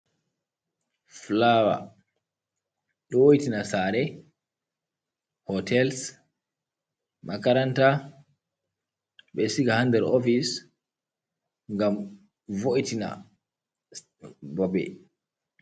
Fulawar, ɗo wo'itina sare, hotel, makaranta. Ɓeɗo siga ha ndar ofice ngam vo’tina babe.